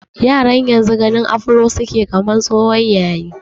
Yaran yanzu ganin afro su ke yi kamar tsohon yayi.